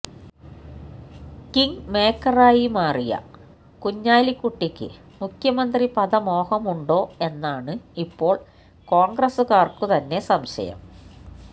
King മേക്കറായി മാറിയ കുഞ്ഞാലിക്കുട്ടിക്ക് മുഖ്യമന്ത്രിപദ മോഹമുണ്ടോ എന്നാണ് ഇപ്പോള് കോണ്ഗ്രസുകാര്ക്കു തന്നെ സംശയം